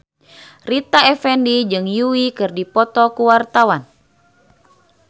Rita Effendy jeung Yui keur dipoto ku wartawan